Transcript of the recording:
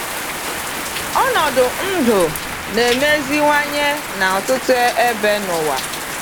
Ọnọdụ ndụ na-emeziwanye na ọtụtụ ebe n’ụwa.